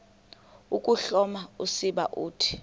ukuhloma usiba uthi